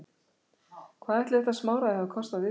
Hvað ætli þetta smáræði hafi kostað viðkomandi?